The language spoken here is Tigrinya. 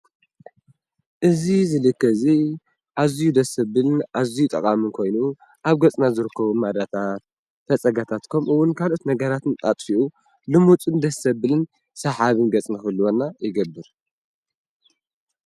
እዚ ዝልከ እዚ ኣዝዩ ደስ ዘብል ኣዝዩ ጠቃሚ ኮይኑ ኣብ ገጽና ዝርከቡ ማዳታት፣ ፈፀጋታት ከምኡ ዉን ካልኦት ነገራትን ኣጥፊኡ ልሙጽን ደስ ዘብልን ሰሓብን ገጽ ክህልወና ይገብር።